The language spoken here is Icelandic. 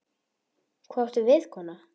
Hvað áttu við, kona?